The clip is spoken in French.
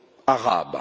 arabe.